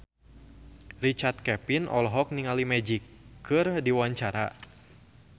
Richard Kevin olohok ningali Magic keur diwawancara